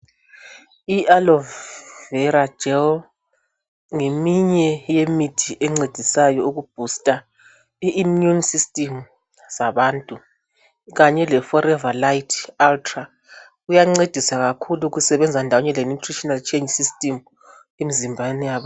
IAloe Vera Gel ngeminye yemithi encedisayo ukubhusta I immune system zabantu kanye leForever Lite Ultra kuyancedisa kakhulu kusebenza ndawonye leNutritional Change System emzimbeni yabantu